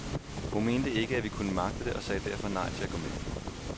Hun mente ikke, at vi kunne magte det og sagde derfor nej til at gå med.